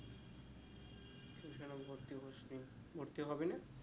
ভর্তি হবি না